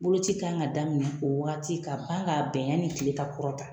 Boloci kan ka daminɛ o wagati ka ban ka bɛn yanni kile ka kɔrɔta.